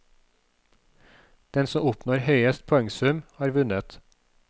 Den som oppnår høyest poengsum, har vunnet.